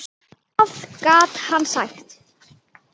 Hvað gat hann sagt?